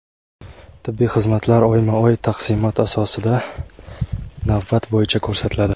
Tibbiy xizmatlar oyma-oy taqsimot asosida navbat bo‘yicha ko‘rsatiladi.